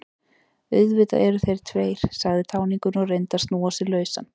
Auðvitað eru þeir tveir, sagði táningurinn og reyndi að snúa sig lausan.